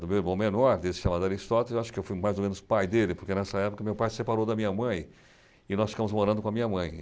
do meu irmão menor, desse chamado Aristóteles, acho que eu fui mais ou menos pai dele, porque nessa época meu pai se separou da minha mãe, e nós ficamos morando com a minha mãe.